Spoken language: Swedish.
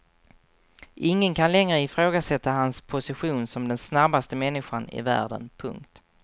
Ingen kan längre ifrågasätta hans position som den snabbaste människan i världen. punkt